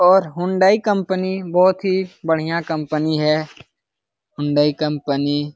और Hyundai company बोहोत ही बढ़िया कंपनी है। Hyundai company --